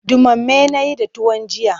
Ɗumame na yi da tuwon jiya.